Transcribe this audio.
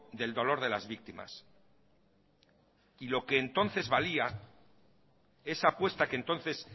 del dolor de las víctimas lo que entonces valía esa apuesta que entonces